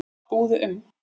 Búðu um